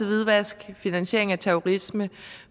hvidvask og finansiering af terrorisme